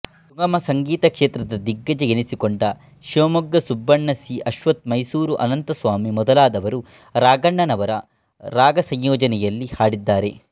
ಸುಗಮ ಸಂಗೀತ ಕ್ಷೇತ್ರದ ದಿಗ್ಗಜ ಎನ್ನಿಸಿಕೊಂಡ ಶಿವಮೊಗ್ಗ ಸುಬ್ಬಣ್ಣ ಸಿ ಅಶ್ವಥ್ ಮೈಸೂರು ಅನಂತಸ್ವಾಮಿ ಮೊದಲಾದವರು ರಾಘಣ್ಣನವರ ರಾಗಸಂಯೋಜನೆಯಲ್ಲಿ ಹಾಡಿದ್ದಾರೆ